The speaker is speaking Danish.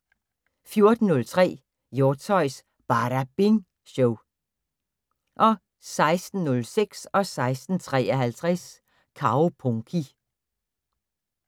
14:03: Hjortshøjs Badabing Show 16:06: Kaupunki 16:53: Kaupunki